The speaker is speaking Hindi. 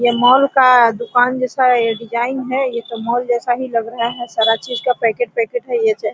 ये मॉल का दुकान जैसा ये डिजाइन है एक मॉल जैसा ही लग रहा है सारा चीज का पैकेट पैकेट है ये --